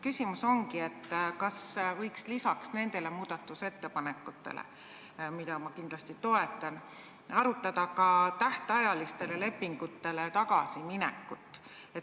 Küsimus ongi, kas võiks lisaks nendele muudatusettepanekutele, mida ma kindlasti toetan, arutada ka tähtajalistele lepingutele tagasiminekut.